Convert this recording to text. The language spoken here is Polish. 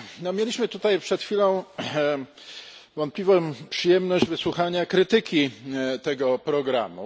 Mieliśmy tutaj przed chwilą wątpliwą przyjemność wysłuchania krytyki tego programu.